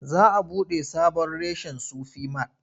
Za a buɗe sabon reshen Sufi mat.